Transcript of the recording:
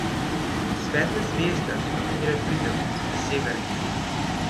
Svetla zvezda, do katere pridemo, je Severnica.